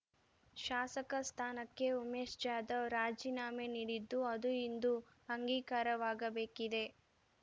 ಶಾಸಕ ಸ್ಥಾನಕ್ಕೆ ಉಮೇಶ್ ಜಾಧವ್ ರಾಜೀನಾಮೆ ನೀಡಿದ್ದು ಅದು ಇಂದು ಅಂಗೀಕಾರವಾಗಬೇಕಿದೆ